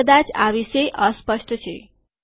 તે કદાચ આ વિશે અસ્પષ્ટ છે